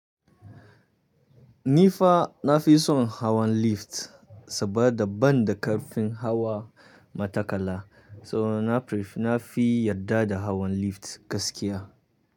Ni fa na fi son hawan lift saboda ban da ƙarfin hawa matakala, so na prefer na fi yarda da hawan lift gaskiya.